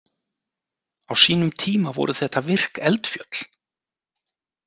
Á sínum tíma voru þetta virk eldfjöll.